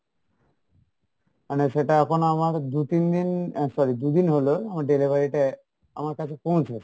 মানে সেটা এখন আমার দু তিন দিন আহ sorry দু দিন হলো আমার delivery টা আমার কাছে পৌঁছেছে,